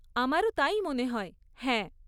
আমারও তাই মনে হয়, হ্যাঁ।